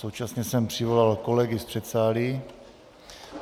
Současně jsem přivolal kolegy z předsálí.